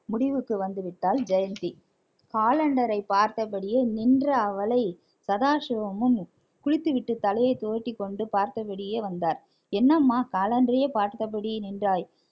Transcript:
முடிவுக்கு வந்துவிட்டாள் ஜெயந்தி காலண்டரை பார்த்தபடியே நின்ற அவளை சதாசிவமும் குளித்துவிட்டு தலையை துவட்டி கொண்டு பார்த்தபடியே வந்தார் என்னம்மா காலண்டரையே பார்த்தபடி நின்றாய்